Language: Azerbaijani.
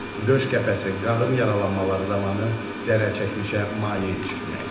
Döş qəfəsi, qarın yaralanmaları zamanı zərərçəkmişə maye içirtmək.